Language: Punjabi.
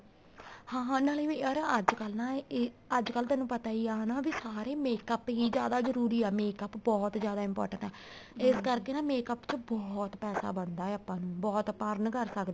ਹਾਂ ਹਾਂ ਨਾਲੇ ਯਾਰ ਅੱਜ ਕੱਲ ਨਾ ਇਹ ਅੱਜ ਕੱਲ ਤੈਨੂੰ ਪਤਾ ਹੀ ਆ ਹਨਾ ਵੀ ਸਾਰੇ makeup ਹੀ ਜਿਆਦਾ ਜਰੂਰੀ ਆ makeup ਬਹੁਤ ਜਿਆਦਾ important ਆ ਇਸ ਕਰਕੇ makeup ਚ ਬਹੁਤ ਪੈਸਾ ਬਣਦਾ ਆ ਆਪਾਂ ਨੂੰ ਬਹੁਤ ਆਪਾਂ earn ਕਰ ਸਕਦੇ ਹਾਂ